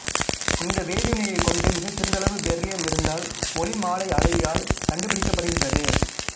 இந்த வேதிவினையைக் கொண்டு மிகச்சிறிதளவு பெரிலியம் இருந்தால் ஒளிமாலையளவியால் கண்டுபிடிக்கப்படுகின்றது